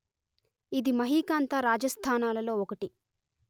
ఇది మహీకాంతా రాజాస్థానాలలో ఒకటి